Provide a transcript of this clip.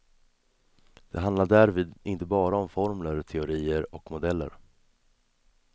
Det handlar därvid inte bara om formler, teorier och modeller.